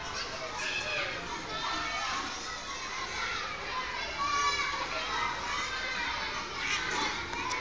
sa mo re shwato nkong